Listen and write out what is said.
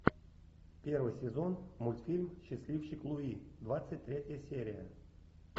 первый сезон мультфильм счастливчик луи двадцать третья серия